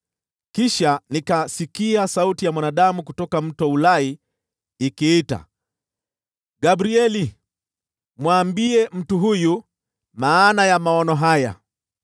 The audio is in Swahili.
Kisha nikasikia sauti ya mwanadamu kutoka Mto Ulai ikiita, “Gabrieli, mwambie mtu huyu maana ya maono haya.”